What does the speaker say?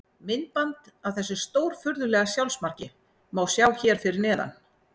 Myndband af þessu stórfurðulega sjálfsmarki má sjá hér fyrir neðan.